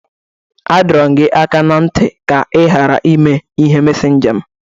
A dọrọ m gị aka na nti ka ị ghara imeghe mesénja m!